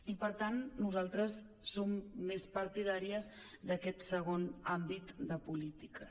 i per tant nosaltres som més partidàries d’aquest segon àmbit de polítiques